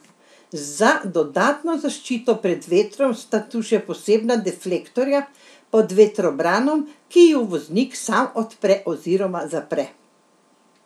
Za dodatno zaščito pred vetrom sta tu še posebna deflektorja pod vetrobranom, ki ju voznik sam odpre oziroma zapre.